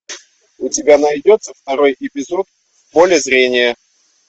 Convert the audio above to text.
у тебя найдется второй эпизод в поле зрения